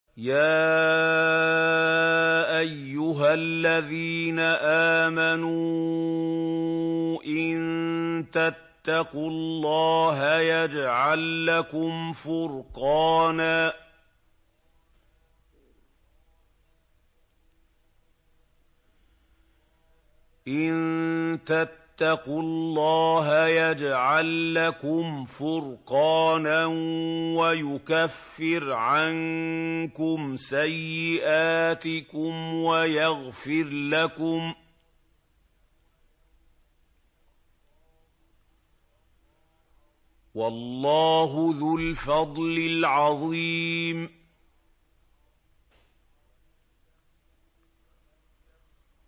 يَا أَيُّهَا الَّذِينَ آمَنُوا إِن تَتَّقُوا اللَّهَ يَجْعَل لَّكُمْ فُرْقَانًا وَيُكَفِّرْ عَنكُمْ سَيِّئَاتِكُمْ وَيَغْفِرْ لَكُمْ ۗ وَاللَّهُ ذُو الْفَضْلِ الْعَظِيمِ